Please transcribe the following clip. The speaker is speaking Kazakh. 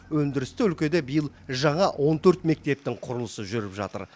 өндірісті өлкеде биыл жаңа он төрт мектептің құрылысы жүріп жатыр